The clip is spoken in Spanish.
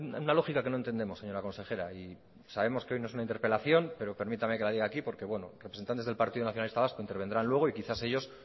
hay una lógica que no entendemos señora consejera y sabemos que hoy no es una interpelación pero permítame que la diga aquí porque bueno representantes del partido nacionalista vasco intervendrán luego y quizá ellos